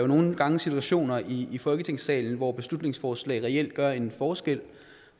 nogle gange situationer i i folketingssalen hvor beslutningsforslag reelt gør en forskel